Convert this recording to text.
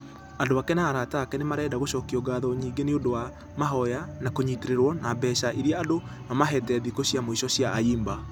Andũ ake na arata ake nĩmarenda gũcokia ngatho nyingĩ nĩũndũ wa mahoya na kũnyitererwo ...na mbeca ĩrĩa andũ mamahĩte thikũ cia mũico cia ayimba.